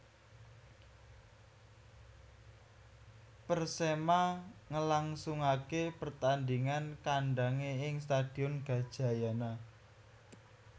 Persema ngelangsungake pertandingan kandange ing Stadion Gajayana